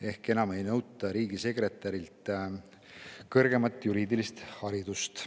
Ehk enam ei nõuta riigisekretärilt kõrgemat juriidilist haridust.